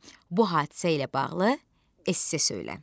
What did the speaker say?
Bu hadisə ilə bağlı esse söylən.